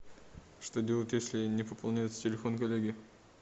что делать если не пополняется телефон коллеги